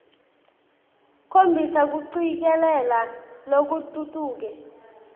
khombisa kucikelela lokutfutfuke